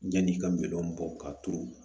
Yanni i ka minɛnw bɔ ka turu